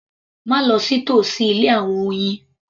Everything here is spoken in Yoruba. Má lọ sí tòsí ilé àwọn oyin